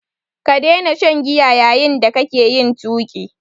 Ka daina shan giya yayin da kake yin tuƙi!